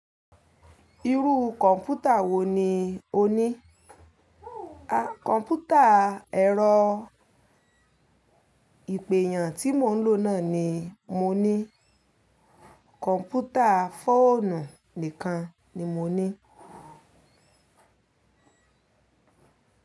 Irú kọ̀ǹpútà wo ni o ní? Kọ̀ǹpútà ẹ̀rọ ìpè eeyan tí mo ń lò náà ni mo ní. Kọ̀ǹpútà fóònù nìkan ni mo ní.